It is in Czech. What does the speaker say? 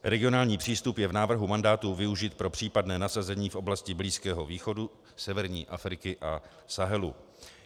Regionální přístup je v návrhu mandátu využit pro případné nasazení v oblasti Blízkého východu, severní Afriky a Sahelu.